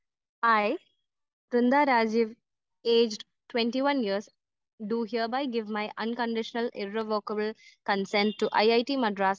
speaker 1 I Brinda Rajeev aged 21 years do hereby give my unconditional irrevocable consent to IIT Madras